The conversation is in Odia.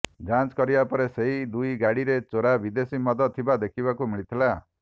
ଯାଞ୍ଚ କରିବା ପରେ ସେହି ଦୁଇଗାଡ଼ିରେ ଚୋରାଦେଶୀମଦ ଥିବା ଦେଖିବାକୁ ମିଳିଥିଲା